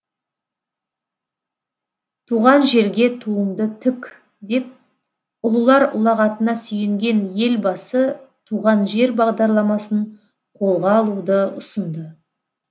туған жерге туыңды тік деп ұлылар ұлағатына сүйенген елбасы туған жер бағдарламасын қолға алуды ұсынды